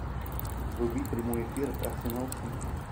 вруби прямой эфир арсенал сити